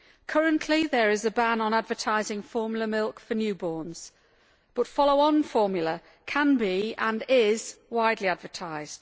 Currently there is a ban on advertising formula milk for newborns, but follow on formula can be, and is, widely advertised.